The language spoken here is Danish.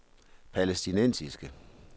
palæstinensiske